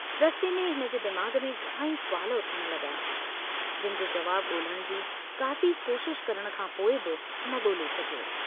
रस्ते में हिनजे दिमाग़ में घणाई सुवाल उथण लगा जिन जो जवाबु गोल्हण जी काफ़ी कोशश करण खां पोइ बि न गोल्हे सघियो।